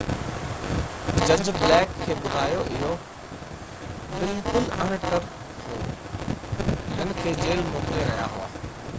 جج بليڪ کي ٻڌايو اهو بلڪل اڻ ٽر هو هن کي جيل موڪلي رهيا هئا